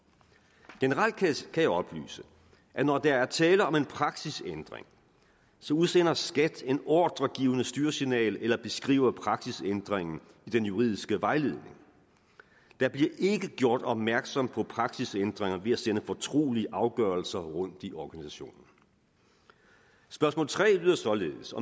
generelt kan jeg oplyse at når der er tale om en praksisændring udsender skat et ordregivende styresignal eller beskriver praksisændringen i den juridiske vejledning der bliver ikke gjort opmærksom på praksisændringer ved at sende fortrolige afgørelser rundt i organisationen spørgsmål tre lyder således